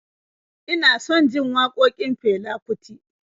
Ina son jin waƙokin Fela Kuti